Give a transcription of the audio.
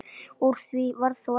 Úr því varð þó ekki.